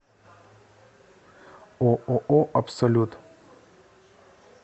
ооо абсолют